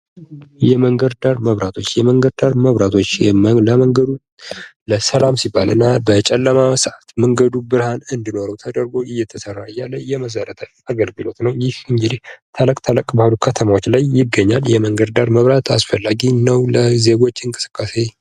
የመንገድ ዳር መብራቶች፦ የመንገድ ዳር መብራቶች ለመንገዱ ሰላም ሲባል እና በጨለማ ሰዓት መንገዱ መብራት እንዲኖረው ተደርጎ የሚሠራ የመሰረታዊ የአገልግሎት ነው። ይህ እንግዲህ ተለቅ ተለቅ ባሉ ከተሞች ላይ ይገኛል የመንገድ ዳር መብራት አስፈላጊ ነው ለዜጎች እንቅስቃሴ።